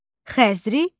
Xəzri nədir?